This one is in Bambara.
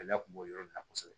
Gɛlɛya kun b'o yɔrɔ in na kosɛbɛ